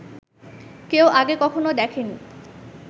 কেউ আগে কখনও দেখেনি